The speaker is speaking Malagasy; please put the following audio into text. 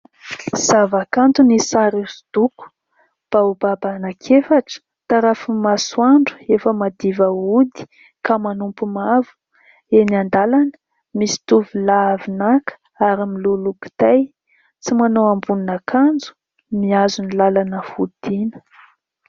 Zavakanto ny sary hoso-doko. Baobaba anankiefatra, tarafin'ny masoandro efa madiva hody ka manopy mavo. Eny an-dalana misy tovolahy avy naka ary miloloha kitay, tsy manao ambonin'akanjo, mihazo ny lalana fodiana.